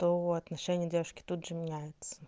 то отношение девушки тут же меняется